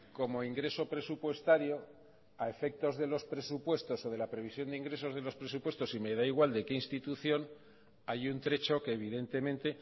como ingreso presupuestario a efectos de los presupuestos o de la previsión de ingresos de los presupuestos y me da igual de qué institución hay un trecho que evidentemente